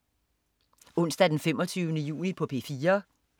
Onsdag den 25. juni - P4: